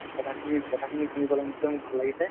কথাখিনি কথাখিনি শুনি পেলাই মোৰ নিশ্চয় ভাল লাগিছে ।